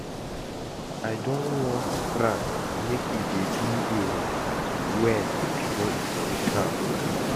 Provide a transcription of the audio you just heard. I don warn Frank make he dey do im research well before he submit am